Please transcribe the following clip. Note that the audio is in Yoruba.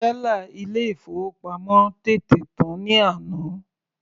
Tẹ́là ilé ìfowópamọ́ tètè tán ní àná.